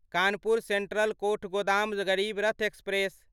Kanpur central Kathgodam Garib Rath express